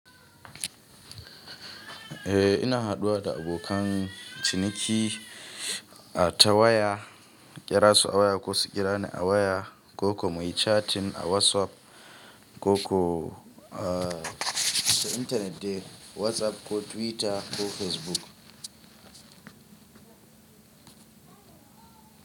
Eh ina haɗuwa da abokan ciniki a ta waya, ƙerasu a waya, kosu ƙirani a waya, ko kuma yi cattin a wasup, ko ko a ta intanet de, wazaf ko twitter ko fesbuk.